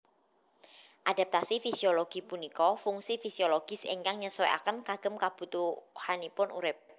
Adaptasi fisiologi punika fungsi fisiologis ingkang nyesuaiken kagem kebutuhanipun urip